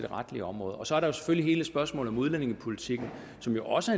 retlige område og så er der selvfølgelig hele spørgsmålet om udlændingepolitikken som jo også